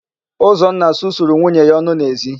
Ụzọnna susuru nwunye ya ọnụ n'ezi.